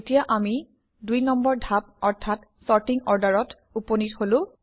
এতিয়া আমি দুই নম্বৰ ধাপ অৰ্থাৎ চৰ্টিং Order অত উপনীত হলো